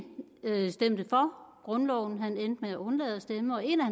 stemte for grundloven han endte med at undlade at stemme og en af